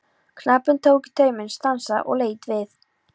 Knapinn tók í tauminn, stansaði og leit við.